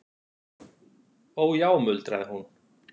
Ó já muldraði hún.